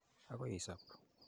Akoi isop.